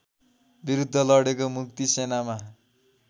विरूद्ध लडेको मुक्तिसेनामा